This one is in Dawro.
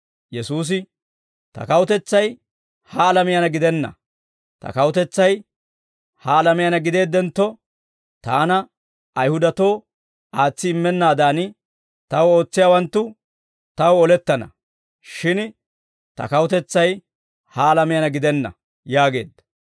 Yesuusi, «Ta kawutetsay ha alamiyaanna gidenna. Ta kawutetsay ha alamiyaanna gideeddentto, Taana Ayihudatoo aatsi immennaadan, Taw ootsiyaawanttu Taw olettana; shin Ta kawutetsay ha alamiyaana gidenna» yaageedda.